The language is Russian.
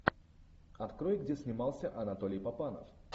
открой где снимался анатолий папанов